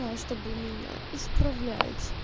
чтобы меня исправлять